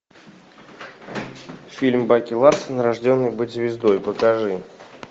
фильм баки ларсон рожденный быть звездой покажи